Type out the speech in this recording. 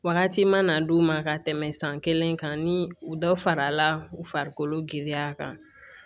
Wagati mana d'u ma ka tɛmɛ san kelen kan ni u dɔ farala u farikolo giriya kan